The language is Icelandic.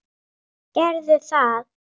Gerðu það!